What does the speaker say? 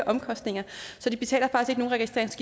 omkostninger og